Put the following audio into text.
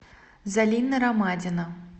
залина ромадина